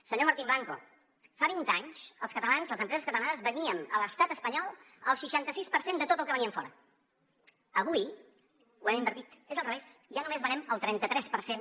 senyor martín blanco fa vint anys els catalans les empreses catalanes veníem a l’estat espanyol el seixanta sis per cent de tot el que veníem fora avui ho hem invertit és al revés i ja només venem el trenta tres per cent